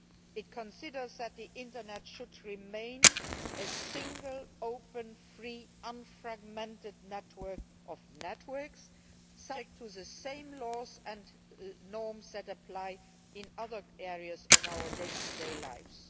It considers that the Internet should remain a single, open, free, unfragmented network of networks subject to the same laws and norms that apply in other areas of our day to day lives.